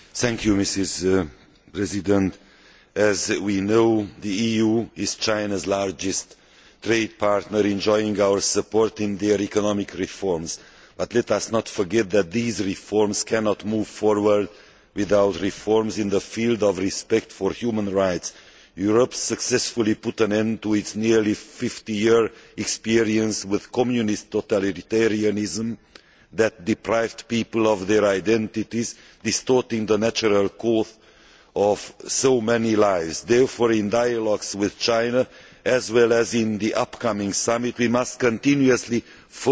Madam President, as we know, the EU is China's largest trade partner, and China enjoys our support in their economic reforms, but let us not forget that these reforms cannot move forward without reforms in the field of respect for human rights. Europe successfully put an end to its nearly 50 year experience with Communist totalitarianism that deprived people of their identities, distorting the natural course of so many lives. Therefore, in dialogues with China, as well as in the upcoming summit, we must continuously focus on